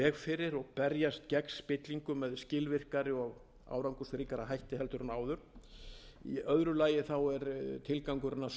fyrir og berjast gegn spillingu með skilvirkari og árangursríkari hætti heldur en áður í öðru lagi er tilgangurinn að stuðla